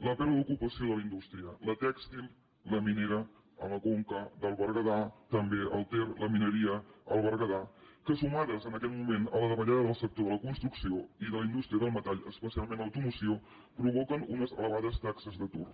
la pèrdua d’ocupació de la indústria la tèxtil la minera a la conca del berguedà també al ter la mineria al berguedà que sumades en aquest moment a la davallada del sector de la construcció i de la indústria del metall especialment l’automoció provoquen unes elevades taxes d’atur